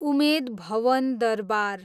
Umed Bhawan Durbar